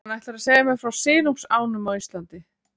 Hann ætlar að segja mér frá silungsánum á Íslandi.